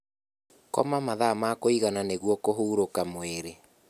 Koma mathaa ma kuigana nĩguo kũhũrũka mwĩrĩ